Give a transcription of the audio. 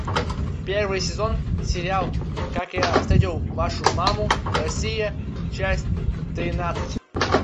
первый сезон сериал как я встретил вашу маму россия часть тринадцать